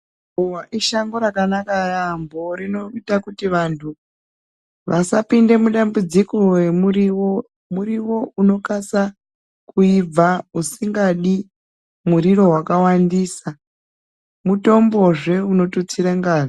Ruva ishango rakanaka yaamho rinoita kuti vantu vasapinda mudambudziko remurivo. Murivo unokasa kuibva usingadi muriro vakawandisa, mutombozve unotitsire ngazi.